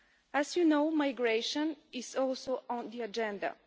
As you know, migration is also on the agenda.